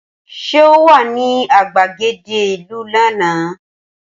Ṣé o wà ní gbàgede ìlú lánàá?